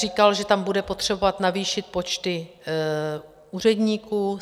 Říkal, že tam bude potřebovat navýšit počty úředníků.